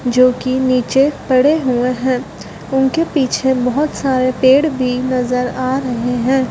जो कि नीचे पड़े हुए हैं उनके पीछे बहोत सारे पेड़ भी नजर आ रहे हैं।